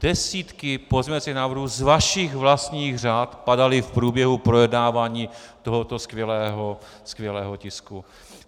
Desítky pozměňovacích návrhů z vašich vlastních řad padaly v průběhu projednávání tohoto skvělého tisku.